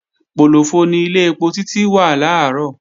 Pòlòfọ ni ilé ẹpo Títí wà làárọ̀